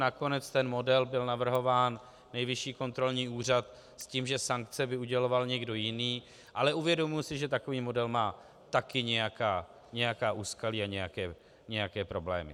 Nakonec ten model byl navrhován Nejvyšší kontrolní úřad s tím, že sankce by uděloval někdo jiný, ale uvědomuji si, že takový model má taky nějaká úskalí a nějaké problémy.